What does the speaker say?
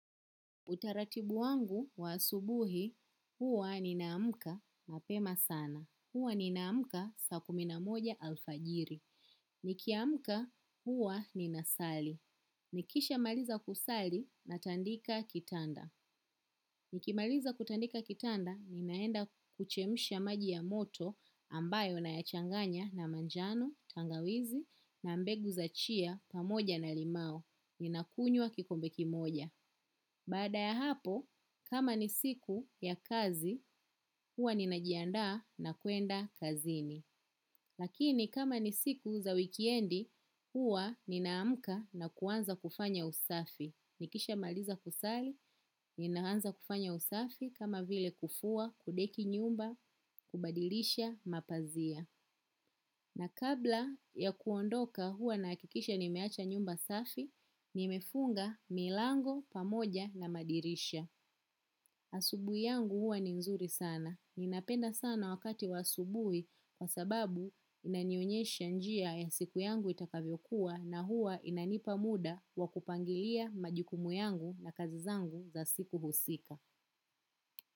Utaratibu wangu wa asubuhi, huwa ninaamka pema sana. Huwa ninaamka saa kumi na moja alfajiri. Nikiamka, huwa ninasali. Nikisha maliza kusali na tandika kitanda. Nikimaliza kutandika kitanda, ninaenda kuchemsha maji ya moto ambayo nayachanganya na manjano, tangawizi na mbegu za chia pamoja na limau. Ninakunywa kikombe kimoja. Baada ya hapo, kama ni siku ya kazi, huwa ninajiandaa na kwenda kazini. Lakini kama ni siku za wikiendi, huwa ninaamka na kuanza kufanya usafi. Nikishamaliza kusali, ninaanza kufanya usafi kama vile kufua kudeki nyumba kubadilisha mapazia. Na kabla ya kuondoka huwa nahakikisha nimeacha nyumba safi, nimefunga milango pamoja na madirisha. Asubui yangu huwa ni nzuri sana. Ninapenda sana wakati wa asubuhi kwa sababu inanionyesha njia ya siku yangu itakavyokuwa na huwa inanipa muda wakupangilia majukumu yangu na kazi zangu za siku husika.